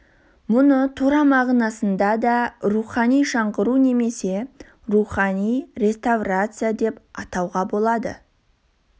мұны тура мағынасында да рухани жаңғыру немесе рухани реставрация деп атауға болады